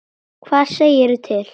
Hvað segirðu til?